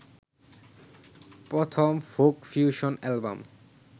প্রথম folk fusion album